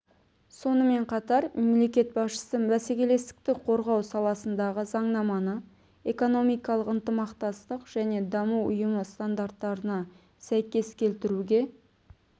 сонымен қатар мемлекет басшысы бәсекелестікті қорғау саласындағы заңнаманы экономикалық ынтымақтастық және даму ұйымы стандарттарына сәйкес келтіруге